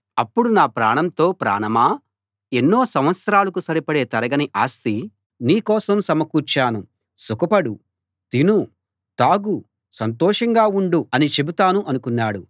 అప్పుడు నా ప్రాణంతో ప్రాణమా ఎన్నో సంవత్సరాలకు సరిపడే తరగని ఆస్తి నీ కోసం సమకూర్చాను సుఖపడు తిను తాగు సంతోషంగా ఉండు అని చెబుతాను అనుకున్నాడు